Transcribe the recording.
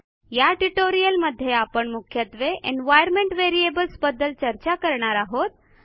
या ट्युटोरियलमध्ये आपण मुख्यत्वे एन्व्हायर्नमेंट व्हेरिएबल्स बद्दल चर्चा करणार आहोत